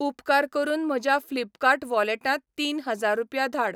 उपकार करून म्हज्या फ्लिपकार्ट वॉलेटांत तीन हजार रुपया धाड.